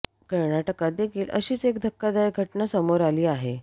कर्नाटकात देखील अशीच एक धक्कदायक घटना समोर आली आहे